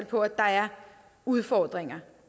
på at der er udfordringer